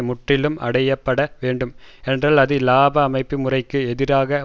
முற்றிலும் அடைய பட வேண்டும் என்றால் அது இலாப அமைப்பு முறைக்கு எதிரான